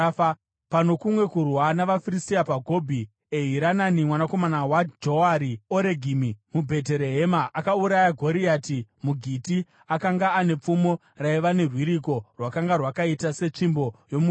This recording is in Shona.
Pano kumwe kurwa navaFiristia paGobhi, Erihanani mwanakomana waJoare-Oregimi muBheterehema akauraya Goriati muGiti, akanga ane pfumo raiva nerwiriko rwakanga rwakaita setsvimbo yomuruki.